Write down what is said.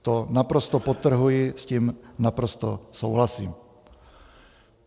To naprosto podtrhuji, s tím naprosto souhlasím.